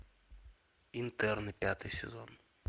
интерны пятый сезон